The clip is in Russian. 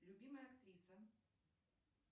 любимая актриса